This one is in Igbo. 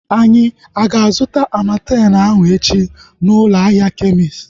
Anyị ga-azuta Amartem ahu echi na ụlọ ahịa kemist